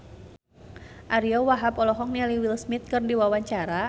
Ariyo Wahab olohok ningali Will Smith keur diwawancara